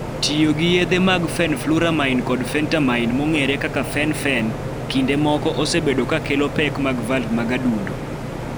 Tiyo gi yedhe mag fenfluramine kod phentermine (fen-phen) kinde moko osebedo ka kelo pek mag valv mag adundo.